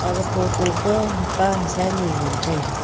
aga photo pa hapa hasa ni ngan taiga.